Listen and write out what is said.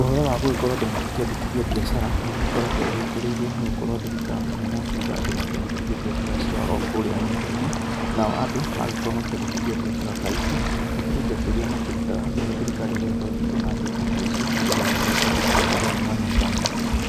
Ũhoro wa gũgĩkorwo andũ magĩkĩandĩkithia mbiacara nĩ ũgĩkoretwo wĩkĩrĩirwo nĩ gũkorwo thirikari nĩ ĩrakĩuga andũ makĩandĩkithie mbiacara ciao o kũrĩa nenda-inĩ nao andũ maragĩkorwo makĩandĩkithia mbiacara ta ici hakĩrĩ mbeca irĩa makĩrutaga nayo thirikari igagĩkorwo ikĩona mbeca ta ici nĩ ũndũ wa gũgĩka matabarĩra mwanya mwanya,